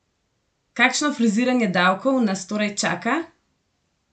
Kakšno friziranje davkov nas torej čaka?